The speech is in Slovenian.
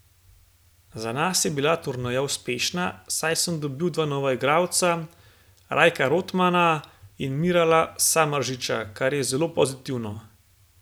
Za nas je bila turneja uspešna, saj sem dobil dva nova igralca, Rajka Rotmana in Mirala Samardžića, kar je zelo pozitivno.